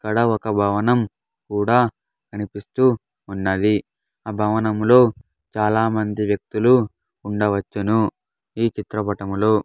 ఇక్కడ ఒక భవనం కూడా కనిపిస్తూ ఉన్నది ఆ భవనంలో చాలామంది వ్యక్తులు ఉండవచ్చును ఈ చిత్రపటములో.